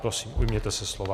Prosím, ujměte se slova.